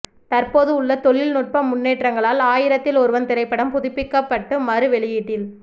தற்போது உள்ள தொழில்நுட்ப முன்னேற்றங்களால் ஆயிரத்தில் ஒருவன் திரைப்படம் புதுப்பிக்கப்பட்டு மறு வெளியீட்டில்